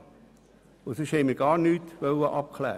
In der GPK wollten wir nichts anderes abklären.